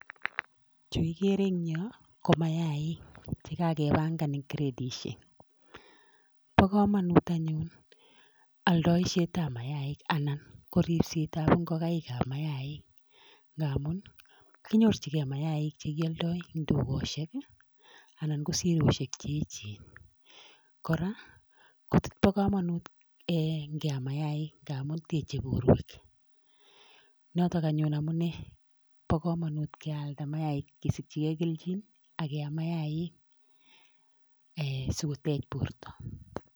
Chu kigere en yuh ko maiik, chekakepangan en kretisiek, bo komonut anyun oldoisiet ab mainik anan ko ripsetab ingokaik ab mainik. Ngamun kinyorchingei mainik chekioldoi en tugosiek anan ko siroisiek che echen. Kora kobo komonut ingeam mainik ngamun teche bortoo. Notok anyun amune bo komonut kealdaa maik kesikyingei kelchin ak iam mainik sikotech bortoo.